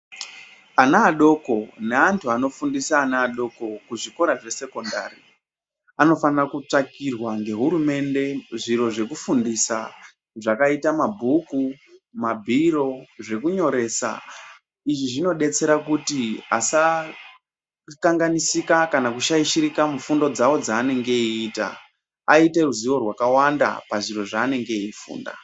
Ana adoko nevanhu andofundiswa ana adoko kuzvikora zvesekondari anofanire kutsvakirwa ngehurumende zviro zvekufundisa zvakaita mabhuku mabhiro zvekunyoresa. Izvi zvinodetsera kuti vasakanganisika kana kushaishirika muzvifundo dzavo dzavanenge veiita, vaite ruzivo rwakawanda pazviro zvavanenge veifunda.